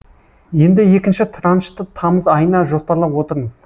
енді екінші траншты тамыз айына жоспарлап отырмыз